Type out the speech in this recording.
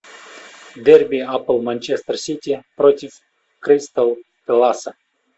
дерби апл манчестер сити против кристал пэласа